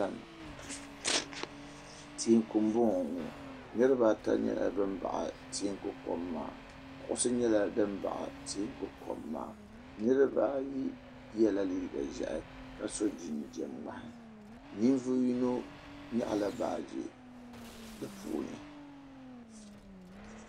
Teeku m bo ŋɔ niribaata nyela bin baɣi teeku kom maa kuɣusi nyela din baɣi teeku kom maa niribaayi yela liiga ʒehi ka so jinjam ŋmahi ninvuɣu yino nyaɣi la baagi di puuni.